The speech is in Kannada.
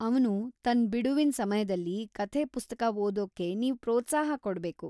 ಅವ್ನು ತನ್ನ್‌ ಬಿಡುವಿನ್ ಸಮಯ್ದಲ್ಲಿ ಕಥೆ ಪುಸ್ತಕ ಓದೋಕ್ಕೆ ನೀವ್ ಪ್ರೋತ್ಸಾಹ ಕೊಡ್ಬೇಕು.